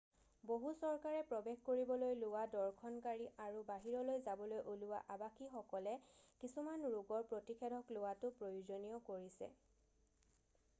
বহু চৰকাৰে প্ৰৱেশ কৰিবলৈ লোৱা দৰ্শনকাৰী আৰু বাহিৰলৈ যাবলৈ ওলোৱা আবাসীসকলে কিছুমান ৰোগৰ প্ৰতিষেধক লোৱাটো প্ৰয়োজনীয় কৰিছে